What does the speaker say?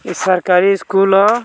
ई सरकारी स्कूल हअ।